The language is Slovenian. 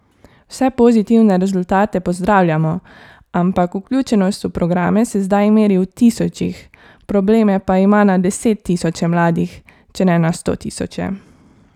Vse pozitivne rezultate pozdravljamo, ampak vključenost v programe se zdaj meri v tisočih, probleme pa ima na desettisoče mladih, če ne na stotisoče.